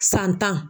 San tan